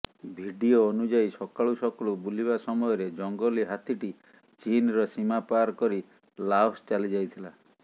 video ଅନୁଯାୟୀ ସକାଳୁ ସକାଳୁ ବୁଲିବା ସମୟରେ ଜଙ୍ଗଲୀ ହାତୀଟି ଚୀନର ସୀମା ପାର କରି ଲାଓସ୍ ଚାଲିଯାଇଥିଲା